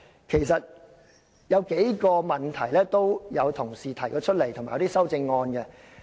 其實議員已提出過數個問題，以及提出修正案。